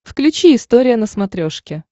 включи история на смотрешке